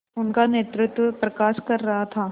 उनका नेतृत्व प्रकाश कर रहा था